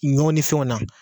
Ɲɔ ni fɛnw na